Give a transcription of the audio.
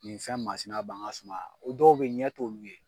Nin fɛn masina b'an ka suma na o dɔw bɛ ye ɲɛ t'o olu ye.